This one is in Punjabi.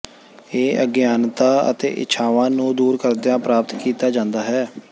ਇਹ ਅਗਿਆਨਤਾ ਅਤੇ ਇੱਛਾਵਾਂ ਨੂੰ ਦੂਰ ਕਰਦਿਆਂ ਪ੍ਰਾਪਤ ਕੀਤਾ ਜਾਂਦਾ ਹੈ